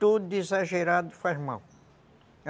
Tudo exagerado faz mal.